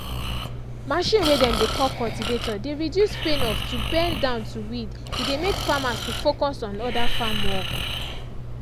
machine way dem dey call cultivator dey reduce pain of to bend down to weed e dey make farmers to focus on other farm work.